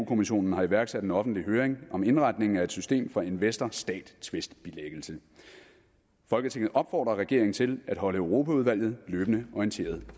kommissionen har iværksat en offentlig høring om indretningen af et system for investor stat tvistbilæggelse folketinget opfordrer regeringen til at holde europaudvalget løbende orienteret